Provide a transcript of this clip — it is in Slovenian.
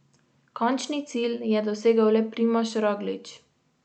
Končni cilj je dosegel le Primož Roglič.